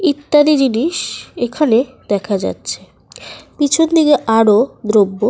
ইত্যাদি জিনিস এখানে দেখা যাচ্ছে পিছন দিকে আরো দ্রব্য --